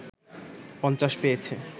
৫০ পেয়েছে